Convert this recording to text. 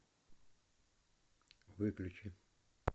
выключи